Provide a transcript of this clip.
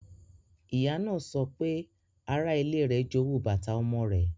Ìyá náà sọ pé ara-ile rẹ̀ jowu bàtà ọmọ rẹ̀.